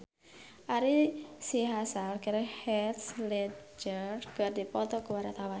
Ari Sihasale jeung Heath Ledger keur dipoto ku wartawan